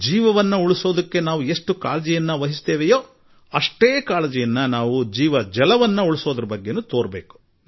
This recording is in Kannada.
ಜೀವನ ಉಳಿಸುವುದಕ್ಕೆ ಮಾಡುವಷ್ಟೇ ಕಾಳಜಿಯನ್ನು ನೀರು ಉಳಿಸಲೂ ಕೂಡಾ ಮಾಡಿ